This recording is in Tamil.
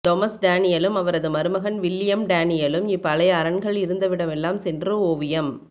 தொமஸ் டேனியலும் அவரது மருமகன் வில்லியம் டேனியலும் இப்பழைய அரண்கள் இருந்த விடமெல்லாம் சென்று ஒவியம்